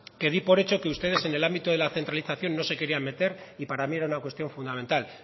que di por hecho que ustedes en el ámbito de la centralización no se querían meter y para mí era una cuestión fundamental